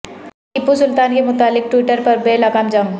ٹیپو سلطان کے متعلق ٹوئٹر پر بے لگام جنگ